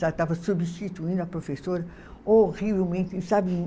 Já estava substituindo a professora horrivelmente, sabe?